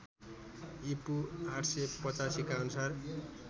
ईपू ८८५ का अनुसार